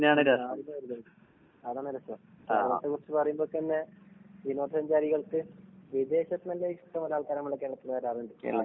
അതാണ് രസം. കേരളത്തെ കുറിച്ച് പറയുമ്പ തന്നെ വിനോദസഞ്ചാരികൾക്ക് വിദേശത്ത്ന്നെല്ലാം ഇഷ്ടം പോലെ ആൾക്കാര് നമ്മടെ കേരളത്തിൽ വരാറുണ്ട്. അഹ്